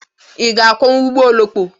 Ị ga-akwọnwu ụgbọ oloko?